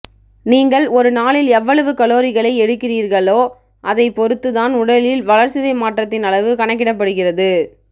நீங்கள் ஒரு நாளில் எவ்வளவு கலோரிகளை எரிக்கிறீர்களோ அதை பொருத்து தான் உடலில் வளர்சிதை மாற்றத்தின் அளவு கணக்கிடப்படுகிறது